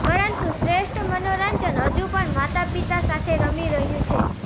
પરંતુ શ્રેષ્ઠ મનોરંજન હજુ પણ માતાપિતા સાથે રમી રહ્યું છે